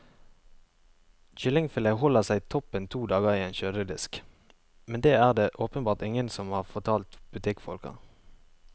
Kyllingfilet holder seg toppen to dager i en kjøledisk, men det er det åpenbart ingen som har fortalt butikkfolka.